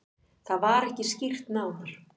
Það var ekki skýrt nánar.